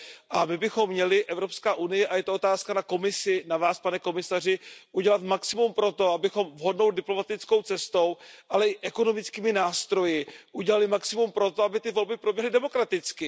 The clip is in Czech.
A my bychom měli, Evropská unie, a je to otázka na Komisi, na Vás, pane komisaři, udělat maximum pro to, abychom vhodnou diplomatickou cestou, ale i ekonomickými nástroji udělali maximum pro to, aby ty volby proběhly demokraticky.